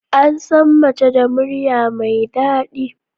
Ansan Mace da murya mai dadi